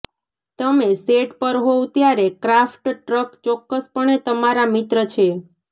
તમે સેટ પર હોવ ત્યારે ક્રાફ્ટ ટ્રક ચોક્કસપણે તમારા મિત્ર છે